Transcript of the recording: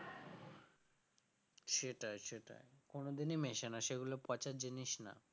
সেটাই সেটাই কোনদিন মেশে না সেগুলো পচার জিনিস না